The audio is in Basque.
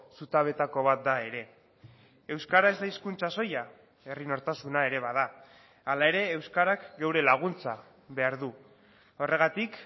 zutabeetako bat da ere euskara ez da hizkuntza soila herri nortasuna ere bada hala ere euskarak geure laguntza behar du horregatik